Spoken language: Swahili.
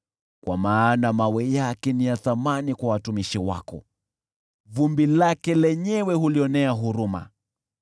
Kwa maana mawe yake ni ya thamani kwa watumishi wako, vumbi lake lenyewe hulionea huruma.